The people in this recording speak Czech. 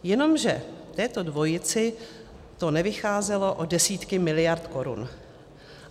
Jenomže této dvojici to nevycházelo o desítky miliard korun.